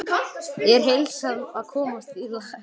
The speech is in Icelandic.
Er heilsan að komast í lag?